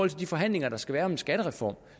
de forhandlinger der skal være om en skattereform